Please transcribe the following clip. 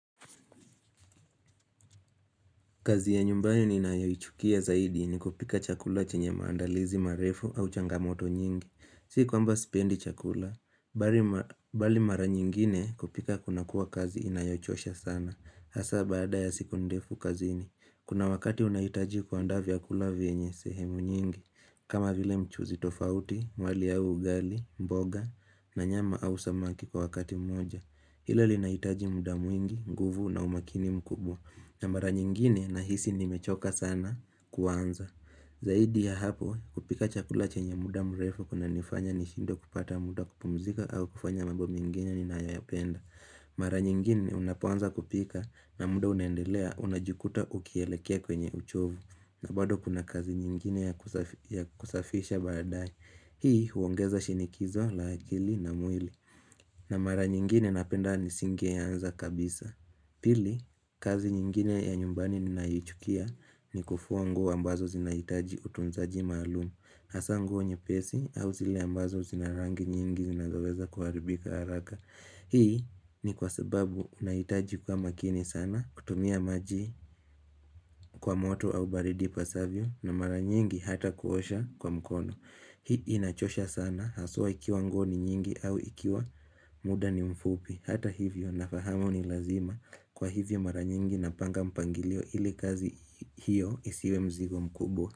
Kazi ya nyumbani inayochukia zaidi ni kupika chakula chenye maandalizi marefu au changamoto nyingi. Si kwamba sipendi chakula, bali mara nyingine kupika kuna kuwa kazi inayochosha sana. Hasa baada ya siku ndefu kazini. Kuna wakati unahitaji kuandaa vyakula venye sehemu nyingi. Kama vile mchuzi tofauti, mwali au ugali, mboga, na nyama au samaki kwa wakati mmoja. Hilo linaitaji mudabmwingi, nguvu na umakini mkubwa. Na mara nyingine nahisi nimechoka sana kuanza Zaidi ya hapo kupika chakula chenye muda mrefu kuna nifanya ni shindwe kupata muda kupumzika au kufanya mambo mengine ni nayoyapenda Mara nyingine unapoanza kupika na muda unendelea unajikuta ukielekea kwenye uchovu na bado kuna kazi nyingine ya kusafisha badae Hii huongeza shinikizo la akili na mwili na mara nyingine napenda nisingeanza kabisa Pili, kazi nyingine ya nyumbani ninayoichukia ni kufua nguo ambazo zinahitaji utunzaji maalumu Hasa nguo nyepesi au zile ambazo zinarangi nyingi zinazoweza kuharibika haraka Hii ni kwa sababu unahitaji kuwa makini sana kutumia maji kwa moto au baridi pasavyo na mara nyingi hata kuosha kwa mkono Hii inachosha sana haswa ikiwa nguo ni nyingi au ikiwa muda ni mfupi Hata hivyo nafahamu ni lazima kwa hivyo mara nyingi napanga mpangilio ili kazi hiyo isiwe mzigo mkubwa.